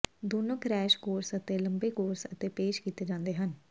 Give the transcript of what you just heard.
ਦੋਨੋ crash course ਅਤੇ ਲੰਬੇ ਕੋਰਸ ਅਤੇ ਪੇਸ਼ ਕੀਤੇ ਜਾਂਦੇ ਹਨ